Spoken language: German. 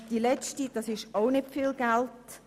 Beim letzten Punkt geht es auch nicht um viel Geld.